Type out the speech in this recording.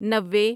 نوے